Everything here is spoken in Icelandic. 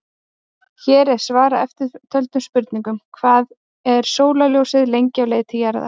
Hér er svarað eftirtöldum spurningum: Hvað er sólarljósið lengi á leið til jarðar?